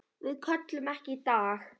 Við sköllum ekki í dag!